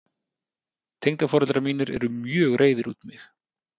Tengdaforeldrar mínir eru mjög reiðir út í mig.